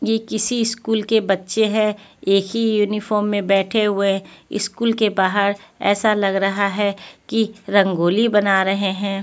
ये किसी स्कूल के बच्चे हैं एक ही यूनिफॉर्म में बैठे हुए स्कूल के बाहर ऐसा लग रहा है कि रंगोली बना रहे हैं।